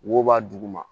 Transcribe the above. Wo b'a duguma